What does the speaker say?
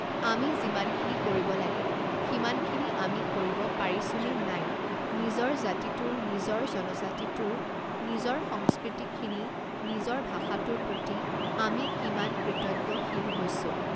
আমি যিমানখিনি কৰিব লাগে সিমানখিনি আমি কৰিব পাৰিছোঁ নে নাই নিজৰ জাতিটোৰ নিজৰ জনজাতিটোৰ নিজৰ সংস্কৃতিখিনি নিজৰ ভাষাটোৰ প্ৰতি আমি কিমান কৃতজ্ঞশীল হৈছোঁ